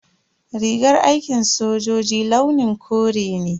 Rigar aikin sojoji launin kore ne.